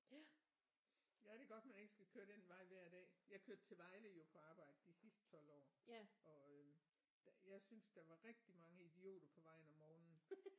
Ja ja det er godt man ikke skal køre den vej hver dag jeg kørte til Vejle jo på arbejde de sidste 12 år og øh der jeg synes der var rigtig mange idioter på vejen om morgen